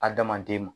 Adamaden ma